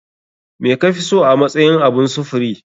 Me kafiso a matsayin abun sufuri?